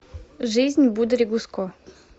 жизнь будори гуско